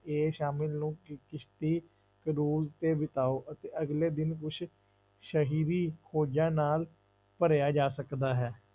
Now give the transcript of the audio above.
ਇਹ ਸ਼ਾਮਿਲ ਨੂੰ ਕ~ ਕਿਸ਼ਤੀ cruise ਤੇ ਬਿਤਾਓ ਅਤੇ ਅਗਲੇ ਦਿਨ ਕੁਛ ਸਹੀਵੀ ਖੋਜਾਂ ਨਾਲ ਭਰਿਆ ਜਾ ਸਕਦਾ ਹੈ।